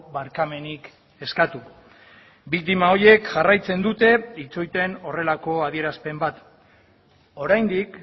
barkamenik eskatu biktima horiek jarraitzen dute itxoiten horrelako adierazpen bat oraindik